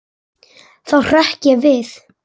Þá hrökk ég við.